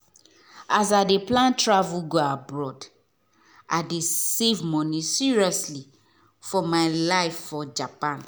as i dey plan travel go abroad i dey save money seriously for my life for japan.